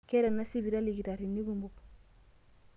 Keeta ena sipitali ilkitarrini kumok.